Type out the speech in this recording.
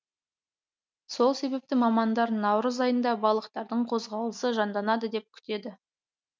сол себепті мамандар наурыз айында балықтардың қозғалысы жанданады деп күтеді